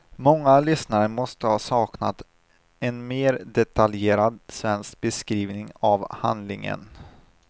Många lysssnare måste ha saknat en mer detaljerad svensk beskrivning av handlingen.